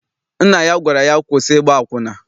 Nna ya gwara ya, kwụsị ịgba akwụna!